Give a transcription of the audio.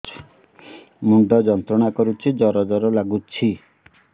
ମୁଣ୍ଡ ଯନ୍ତ୍ରଣା କରୁଛି ଜର ଜର ଲାଗୁଛି